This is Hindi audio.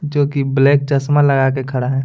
जो कि ब्लैक चश्मा लगा के खड़ा है।